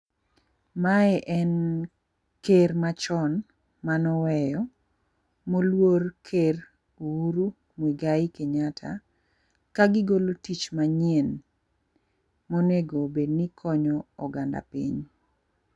Mae en ker machon manoweyo moluor ker Uhuru Mwegai Kenyatta ka gigolo tich manyien monego bed ni konyo oganda piny.